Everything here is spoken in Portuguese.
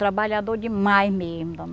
Trabalhador demais mesmo.